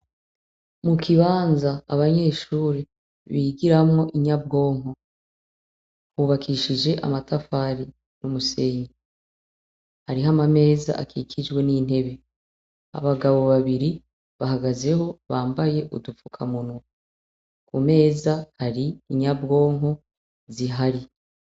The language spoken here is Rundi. Mu kibanza abanyeshuri bigiramwo inyabwonko hubakishije amatafari n'umusenyi ari hama ameza akikijwe n'intebe abagabo babiri bahagazeho bambaye udupfuka muno ku meza hari inyabwonko zihari.